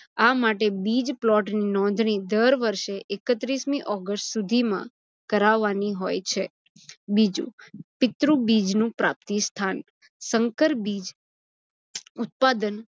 આ માટે બીજ plot ની નોંધણી દર વષેૅ એકત્રીસમી ઓગસ્ટ સુધીમાં કરાવવાની હોય છે. બીજુ પિત્રુ બીજનું પ્રાપ્તિસ્થાન- સંકર બીજ ઉત્પાદન